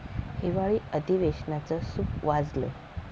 हिवाळी अधिवेशनाचं सूप वाजलं